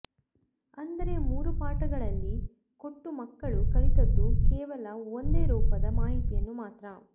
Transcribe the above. ಅಂದರೆ ಮೂರೂ ಪಾಠಗಳಲ್ಲಿ ಕೊಟ್ಟೂ ಮಕ್ಕಳು ಕಲಿತದ್ದು ಕೇವಲ ಒಂದೇ ರೂಪದ ಮಾಹಿತಿಯನ್ನು ಮಾತ್ರ